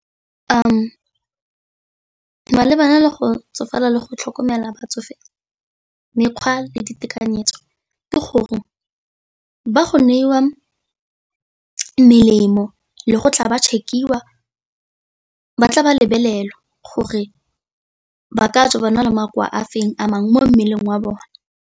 Malebana le go tsofala le go tlhokomela batsofe mekgwa le ditekanyetso ke gore ba go newa melemo le go tla ba check-iwa, ba tla ba lebelelwa gore ba ka tswa ba na le makoa a feng a mangwe mo mmeleng wa bone.